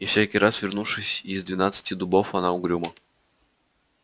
и всякий раз вернувшись из двенадцати дубов она угрюмо